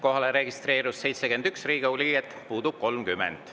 Kohalolijaks registreerus 71 Riigikogu liiget, puudub 30.